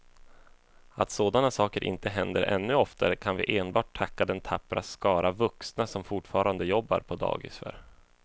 Att sådana saker inte händer ännu oftare kan vi enbart tacka den tappra skara vuxna som fortfarande jobbar på dagis för.